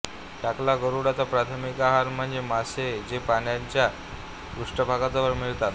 टकला गरुडचा प्राथमिक आहार म्हणजे मासे जे पाण्याच्या पृष्ठभागाजवळ मिळतात